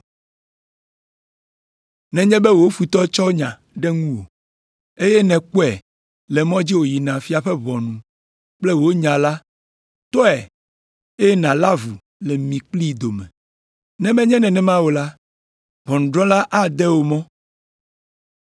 Nenye be wò futɔ tsɔ nya ɖe ŋuwò, eye nèkpɔe le mɔ dzi wòyina fia ƒe ʋɔnu kple wò nya la, tɔe, eye nàlé avu le mi kplii dome. Ne menye nenema o la, ʋɔnudrɔ̃la ade wò mɔ.